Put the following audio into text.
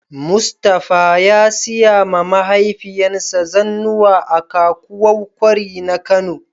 mustapha ya siya ma mahaifiyan sa zannuwa a kakuwau kwari na Kano.